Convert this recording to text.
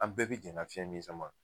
An bɛɛ be jɛn ka fiɲɛ min sama.